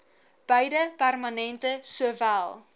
beide permanente sowel